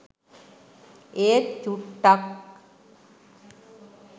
ඒත් චුට්ටක්